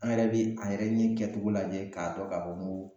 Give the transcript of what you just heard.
An yɛrɛ be a yɛrɛ ɲin kɛtogo lajɛ k'a dɔn k'a fɔ n ko